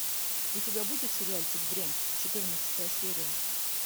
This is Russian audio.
у тебя будет сериальчик дрянь четырнадцатая серия